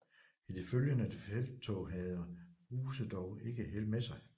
I det følgende felttog havde Ruse dog ikke held med sig